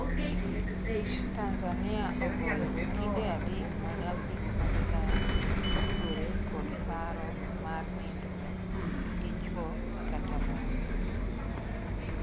Tanzania ogoyo okinde adek mag Afrika ma milambo tudore kod paro mar nindruok gi chwo kata mon